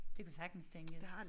Det kunne sagtens tænkes